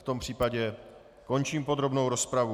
V tom případě končím podrobnou rozpravu.